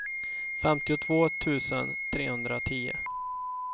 femtiotvå tusen trehundratio